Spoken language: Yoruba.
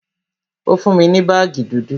Ó fún mi ní baagi dúdú